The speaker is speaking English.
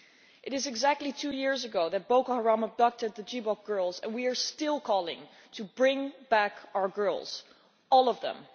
It is exactly two years since Boko Haram abducted the Chibok girls and we are still calling to bring back our girls all of them.